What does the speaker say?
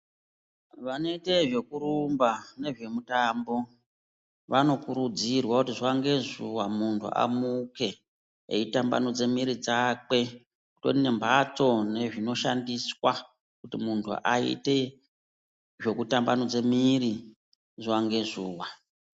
Vanoite zvekurumba nezvemutambo vanokurudzirwa kuti zuva ngezuva muntu amuke eitambanudze mwiiri dzakwe. Kutori nembatso nezvinoshandiswa kuti muntu aite zvokutambanudze mwiiri zuva ngezuva.